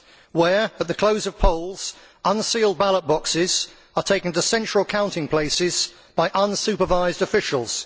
where, at the close of polls, unsealed ballot boxes are taken to central counting places by unsupervised officials